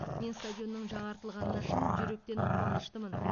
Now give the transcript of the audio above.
мен стадионның жаңартылғанына шын жүректен қуаныштымын